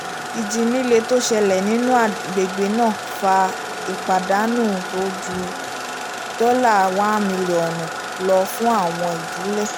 ìjì líle tó ṣẹlẹ̀ nínú agbègbè náà fa ìpadanu tó ju dollar one mílíọ̀nù lọ fún àwọn ìdílé